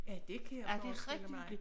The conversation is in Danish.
Ja dét kan jeg forstille mig